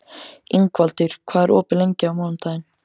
Ingvaldur, hvað er opið lengi á mánudaginn?